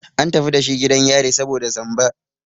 An tafi dashi gidan yari saboda zamba.